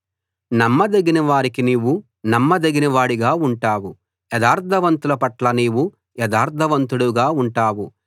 నమ్మదగిన వారికి నీవు నమ్మదగిన వాడిగా ఉంటావు యథార్థవంతుల పట్ల నీవు యథార్థవంతుడవుగా ఉంటావు